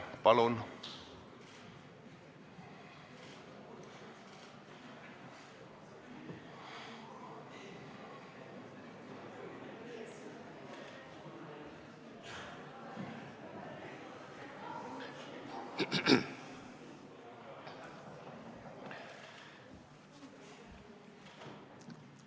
Palun!